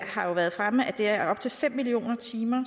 har jo været fremme at det er op til fem millioner timer